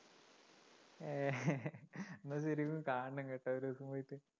എന്നാ ശരിക്കും കാണണം കേട്ടോ ഒരു ദിവസം പോയിട്ട്